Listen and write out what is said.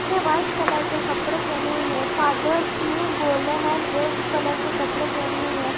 ने white colour के कपड़े पहने हुए हैं फादर्स ने गोल्डन एंड रेड कलर के कपड़े पहने हुए हैं।